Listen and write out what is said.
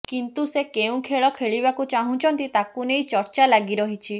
କିନ୍ତୁ ସେ କେଉଁ ଖେଳ ଖେଳିବାକୁ ଚାହୁଁଛନ୍ତି ତାକୁ ନେଇ ଚର୍ଚ୍ଚା ଲାଗିରହିଛି